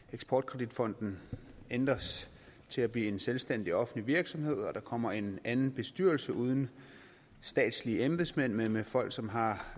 eksport kredit fonden ændres til at blive en selvstændig offentlig virksomhed og der kommer en anden bestyrelse uden statslige embedsmænd men med folk som har